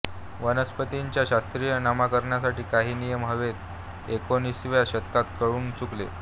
वनस्पतींच्या शास्त्रीय नामकरणासाठी काही नियम हवेत हे एकोणिसाव्या शतकात कळून चुकले